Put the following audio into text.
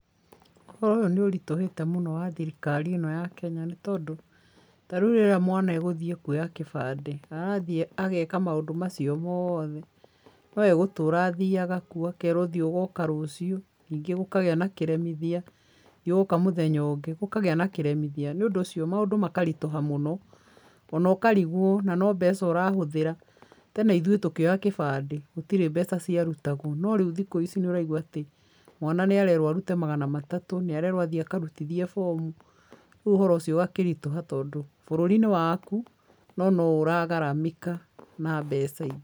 Ũhoro ũyũ nĩ ũritũhĩte mũno wa thirikari ĩno ya Kenya nĩ tondũ, ta rĩu rĩrĩa mwana egũthiĩ kuoya kĩbandĩ arathiĩ ageka maũndũ macio mothe no egũtũra athiaga kuo akerwo thiĩ ũgoka rũciũ ningĩ gũkagĩa na kĩremithia, nĩũgoka mũthenya ũngĩ gũkagĩa na kĩremithia, nĩũndũ ũcio maũndũ makaritũha mũno, ona ũkarigwo na no mbeca ũrahũthĩra. Tene ithuĩ tũkĩoya kĩbandĩ gũtĩrĩ mbeca ciarutagwo no rĩu thikũ ici nĩ ũraigũa atĩ mwana nĩ arerwo arute magana matatũ, nĩ arerwo athiĩ akarutithie bomu, rĩu ũhoro ũcio ũgakĩritũha tondũ bũrũri nĩ waku no no ũragaramika na mbeca.